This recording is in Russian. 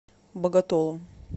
боготолом